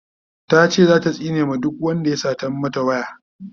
tace zata tsine ma duk Wanda ya Satan mata waya